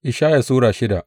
Ishaya Sura shida